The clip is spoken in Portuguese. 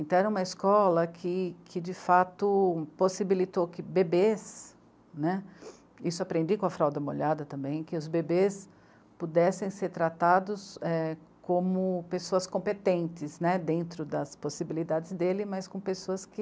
Então era uma escola que, que de fato possibilitou que bebês, né, isso aprendi com a fralda molhada também, que os bebês pudessem ser tratados é... como pessoas competentes, né, dentro das possibilidades dele, mas com pessoas que